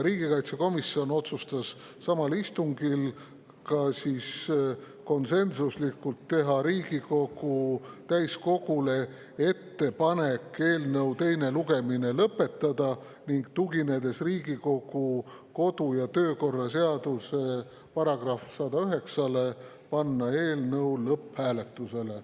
Riigikaitsekomisjon otsustas samal istungil samuti konsensuslikult teha Riigikogu täiskogule ettepaneku eelnõu teine lugemine lõpetada, ning tuginedes Riigikogu kodu‑ ja töökorra seaduse §‑le 109, panna eelnõu lõpphääletusele.